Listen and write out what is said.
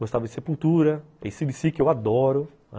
Gostava de Sepultura, que eu adoro.